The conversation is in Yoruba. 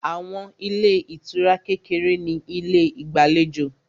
Àwọn ilé ìtura kékeré ní ilé ìgbàlejò